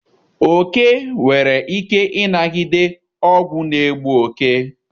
Oke nwere ike ịnagide ọgwụ n'egbu oke.